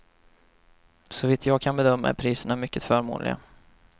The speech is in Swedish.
Såvitt jag kan bedöma är priserna mycket förmånliga.